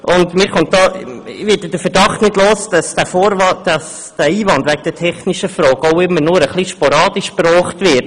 Ich werde zudem den Verdacht nicht los, dass der Einwand der technischen Frage auch immer nur etwas sporadisch angeführt wird.